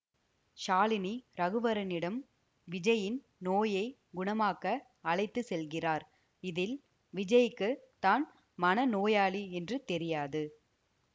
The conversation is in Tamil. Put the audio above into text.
ஷாலினி ரகுவரனிடம் விஜய்யின் நோயை குணமாக்க அழைத்து செல்கிறார் இதில் விஜய்க்கு தான் மனநோயாளி என்று தெரியாது